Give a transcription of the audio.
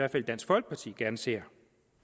i dansk folkeparti gerne ser